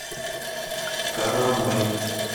карамай